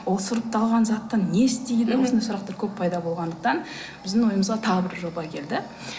ол сұрыпталған затты не істейді осындай сұрақтар көп пайда болғандықтан біздің ойымызға тағы бір жоба келді